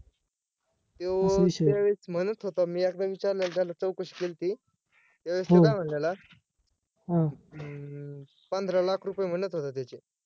त्यो चाळीस म्हणत होता मी एकदा विचारलेलं त्याला चौकशी केली होती त्यावेळेस तो काय म्हणलेले अं पंधरा लाख रुपये म्हणत होता त्याचे